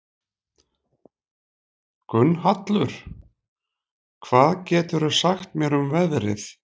Gunnhallur, hvað geturðu sagt mér um veðrið?